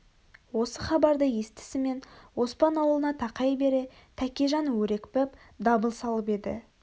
осы хабарды естісімен оспан аулына тақай бере тәкежан әрекпіп дабыл салып еді